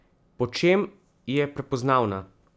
Po čem je prepoznavna?